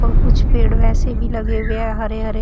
और कुछ पेड़ वैसे भी लगे हुए है हरे हरे--